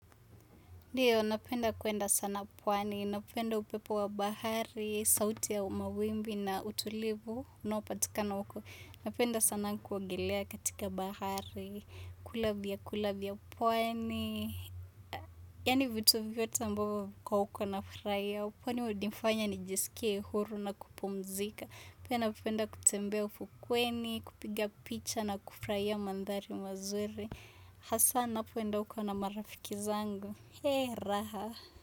Ndiyo, napenda kwenda sana pwani, napenda upepo wa bahari, sauti ya mawimbi na utulivu, unopatika na huko. Napenda sana kuogelea katika bahari, kula vyakula vya pwani, yani vitu vyote ambavyo viko huko nafurahia, kwani hunifanya nijisikie huru na kupumzika. Pia napenda kutembea ufukweni, kupiga picha na kufurahia mandhari mazuri. Hasa ninapoenda huko na marafiki zangu raha.